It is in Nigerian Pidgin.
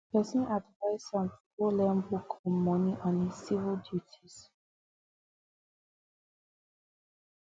person advice am to go learn book on money and his civic duties